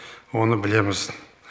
оны білеміз